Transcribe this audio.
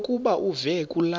lokuba uve kulaa